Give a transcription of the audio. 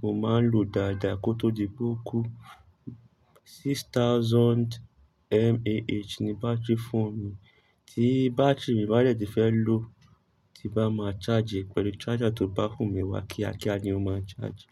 mo máa ń lò dáadáa kó tó di pé ókú. Six thousand mAh ni batiri fóónù mi. Tí batiri mi bá dẹ̀ tì fẹ́ lò tí bá máa charge pẹ̀lú charger tó bá fò mi wá kíá kíá ni ó máa ń charge.